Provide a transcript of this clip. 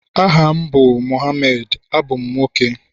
aha m bu Mohammed, abum nwoke